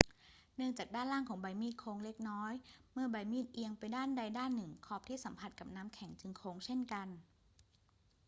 เนื่องจากด้านล่างของใบมีดโค้งเล็กน้อย เมื่อใบมีดเอียงไปด้านใดด้านหนึ่ง ขอบที่สัมผัสกับน้ำแข็งจึงโค้งเช่นกัน